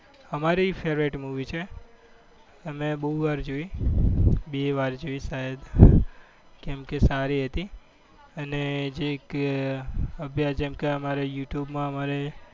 અમારી favourite movie છે. અમે બહુ વાર જોઈ. બે વાર જોઈ સાયદ કેમકે સારી હતી અને જે કે જેમકે યુ ટુબ માં અમારે